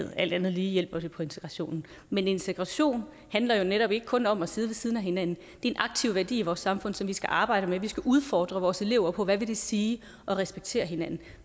alt andet lige hjælper det på integrationen men integration handler jo netop ikke kun om at sidde ved siden af hinanden er en aktiv værdi i vores samfund som vi skal arbejde med vi skal udfordre vores elever på hvad det vil sige at respektere hinanden